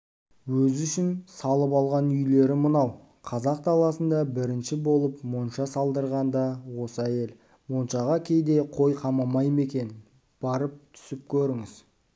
өзі үшін салып алған үйлері мынау қазақ даласында бірінші болып монша салдырған да осы әйел моншаға кейде қой қамамай ма екен барып түсіп көріңіз